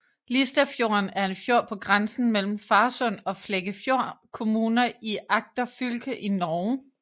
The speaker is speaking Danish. Listafjorden er en fjord på grænsen mellem Farsund og Flekkefjord kommuner i Agder fylke i Norge